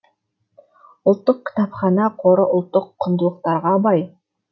ұлттық кітапхана қоры ұлттық құндылықтарға бай